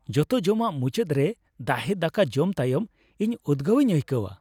ᱡᱚᱛᱚ ᱡᱚᱢᱟᱜ ᱢᱩᱪᱟᱹᱫ ᱨᱮ ᱫᱟᱦᱮ ᱫᱟᱠᱟ ᱡᱚᱢ ᱛᱟᱭᱚᱢ ᱤᱧ ᱩᱫᱜᱟᱹᱣᱤᱧ ᱟᱹᱭᱠᱟᱹᱣᱟ ᱾